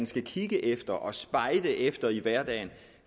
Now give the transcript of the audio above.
skal kigge efter og spejde efter i hverdagen